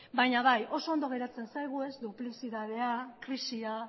baina bai oso ondo geratzen zaigu duplizitatea krisia